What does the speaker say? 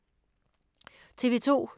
TV 2